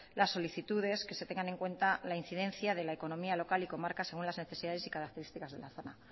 las solicitudes que se tengan en cuenta la incidencia de la economía local y comarca según las necesidades y características de la zona